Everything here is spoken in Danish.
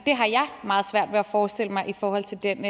meget svært ved at forestille mig i forhold til den